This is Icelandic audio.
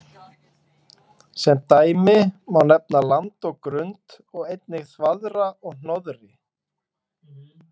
Sem dæmi má nefna land og grund og einnig þvaðra og hnoðri.